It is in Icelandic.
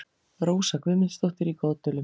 Rósa Guðmundsdóttir í Goðdölum